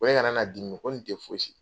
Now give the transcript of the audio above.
Ko ne kana na dimi ko nin tɛ fosi ye.